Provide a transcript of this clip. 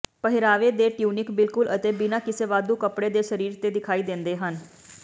ਪਹਿਰਾਵੇ ਦੇ ਟਿਊਨਿਕ ਬਿਲਕੁਲ ਅਤੇ ਬਿਨਾਂ ਕਿਸੇ ਵਾਧੂ ਕੱਪੜੇ ਦੇ ਸਰੀਰ ਤੇ ਦਿਖਾਈ ਦਿੰਦੇ ਹਨ